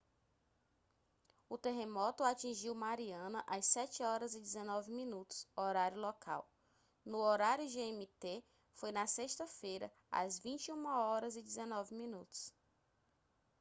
o terremoto atingiu mariana às 07h19min horário local. no horário gmt foi na sexta-feira às 21h19min